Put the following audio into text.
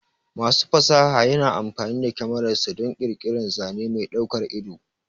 Masu fasaha yana amfani da kyamararsa don ƙirƙirar zane mai daukar ido.